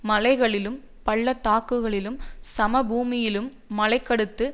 மலைகளிலும் பள்ளத்தாக்குகளிலும் சமபூமியிலும் மலைகளுக்கடுத்த